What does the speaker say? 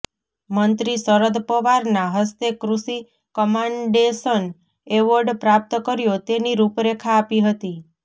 મંત્રી શરદ પવારના હસ્તે કૃષિ કમાન્ડેશન એવોર્ડ પ્રાપ્ત કર્યો તેની રૂપરેખા આપી હતી